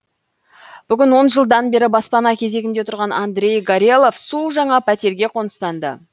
бүгін он жылдан бері баспана кезегінде тұрған андрей горелов су жаңа пәтерге қоныстанды